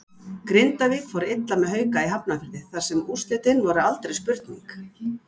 Grindavík fór illa með Hauka í Hafnarfirði þar sem úrslitin voru aldrei spurning.